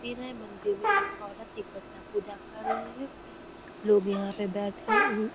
फिर है मंदिर में एक औरत एक बच्चा पूजा कर रहें हैं। लोग यहाँ पे बैठे हैं। उम --